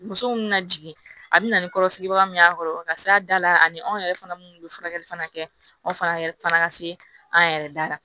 Muso minnu bɛna jigin a bɛna ni kɔrɔsigibaga minnu y'a kɔrɔ ka s'a da la ani anw yɛrɛ fana minnu bɛ furakɛli fana kɛ anw fana yɛrɛ fana ka se an yɛrɛ da la